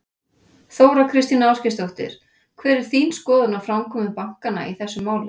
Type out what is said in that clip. Þóra Kristín Ásgeirsdóttir: Hver er þín skoðun á framkomu bankanna í þessu máli?